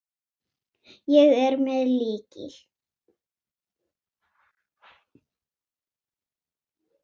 Ég er með lykil.